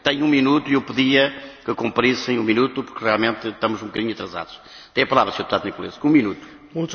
În primul rând, nu cred că Uniunea Europeană are nevoie de o politică comună în privința minorităților